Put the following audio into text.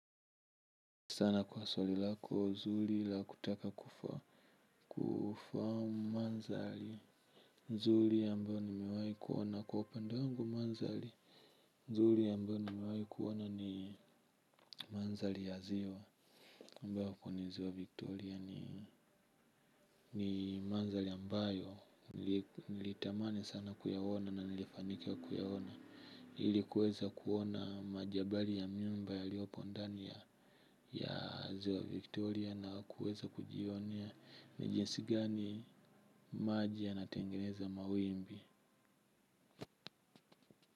Sana kwa swali lako zuli la kutaka kufa. Kufa manzali zuli ambayo nimewai kuona kwa upende wangu manzali zuli ambayo nimewai kuona ni manzali ya ziwa Mbao ni ziwa Victoria ni manzali ambayo nilitamani sana kuyaona na nilifanika kuyaona. Ilikuweza kuona majabali ya miumba yaliopo ndani ya ya ziwa Victoria na kuweza kujionea ni jinsi gani maji yanatengeneza mawimbi.